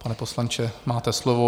Pane poslanče, máte slovo.